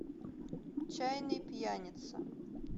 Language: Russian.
чайный пьяница